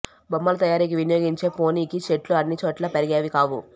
బొమ్మల తయారికీ వినియోగించే పొని కి చెట్లు అన్నిచోట్లా పెరిగేవి కావు